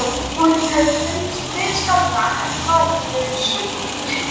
Honum hefði fundist mun skárra hefði maðurinn verið sköllóttur.